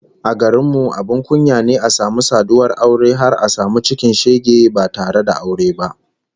A garin mu abin kunya ne a samu saduwar aure har a samu cikin shege ba tare da aure ba